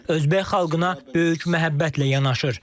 Özbək xalqına böyük məhəbbətlə yanaşır.